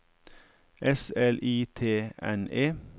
S L I T N E